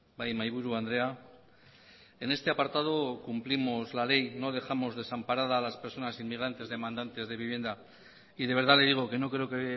bai mahaiburu andrea en este apartado cumplimos la ley no dejamos desamparada a las personas inmigrantes demandantes de vivienda y de verdad le digo que no creo que